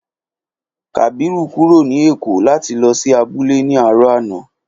Kàbírù kúrò ní èkó láti lò sí abúlé ní àárò àná